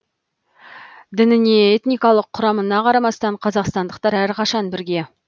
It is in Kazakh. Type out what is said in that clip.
дініне этникалық құрамына қарамастан қазақстандықтар әрқашан бірге